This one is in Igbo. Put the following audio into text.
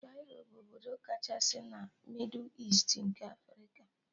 Kairo bụ obodo kachasị na mịdụ Easti nke Afrika